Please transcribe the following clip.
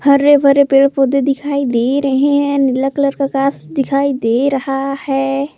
हरे भरे पेड़ पौधे दिखाई दे रहे हैं नीला कलर का आकाश दिखाई दे रहा है।